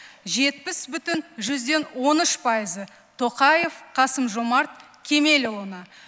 жетпіс бүтін жүзден он үш пайызы тоқаев қасым жомарт кемелұлына